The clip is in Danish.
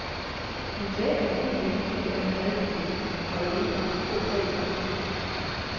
Hun sagde, at hun egentlig ikke mente, at hun havde et problem og at det ikke var nogen stor sag for hende.